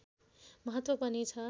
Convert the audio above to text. महत्त्व पनि छ